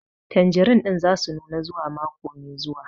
Tanjerin ɗin za su nuna zuwa mako mai zuwa